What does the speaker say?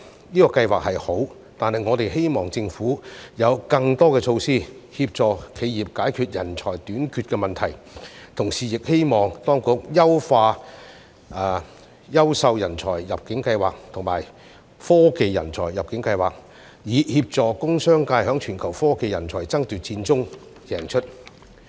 這個計劃是好，但我們希望政府有更多措施，協助企業解決人才短缺的問題，同時亦希望當局優化優秀人才入境計劃及科技人才入境計劃，以協助工商界在全球科技人才爭奪戰中贏出。